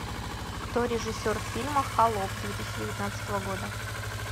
кто режиссер фильма холоп две тысячи девятнадцатого года